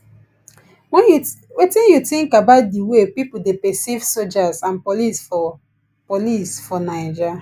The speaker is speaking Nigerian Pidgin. wetin you think about di way people dey perceive soldiers and police for police for naija